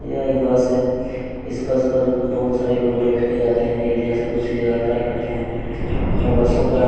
एक बस है इस बस पर बहुत सारे लोक पर बैठकर जा रहे हैं एक जगह से दूसरी जगह यात्रा करते हैं और बस के ऊपर--